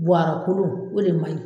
a o de maɲi